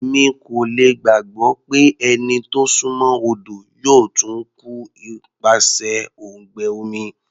Èmi kò lè gbàgbọ́ pé ẹni tó súnmọ́ odo yóò tún kú nípasẹ̀ òǹgbẹ omi.